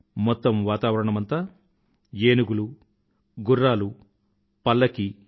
మొత్తం వాతావరణమంతా ఏనుగులు గుర్రాలు పల్లకీ